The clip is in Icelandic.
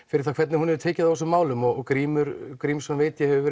fyrir það hvernig hún hefur tekið á þessum málum og Grímur Grímsson veit ég hefur